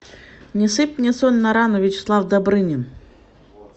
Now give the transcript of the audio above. не сыпь мне соль на рану вячеслав добрынин